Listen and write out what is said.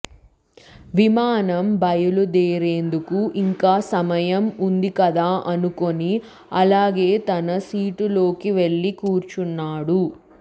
విమానం బయలుదేరేందుకు ఇంకా సమయం ఉందికదా అనుకొని అలానే తన సీటులోకి వెళ్లి కూర్చున్నాడు